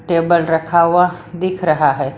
Table रखा हुआ दिख रहा है।